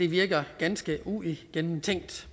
virker ganske uigennemtænkt